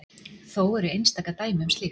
Þó eru einstaka dæmi um slíkt.